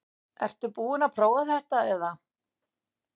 Ertu búin að prófa þetta eða?